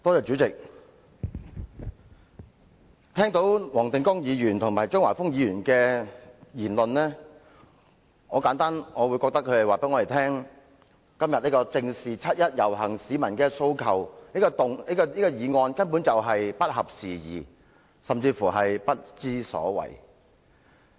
主席，聽到黃定光議員和張華峰議員的言論，我認為他們是想告訴我們，今天這項"正視七一遊行市民的訴求"的議案根本不合時宜，甚至是不知所謂。